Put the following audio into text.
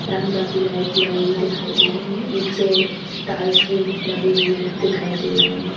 रंग-बिरंगी लाइट लगी हुई दिखाई दे रही है नीचे टाइल्स भी लगे हुए दिखाई दे रहें है।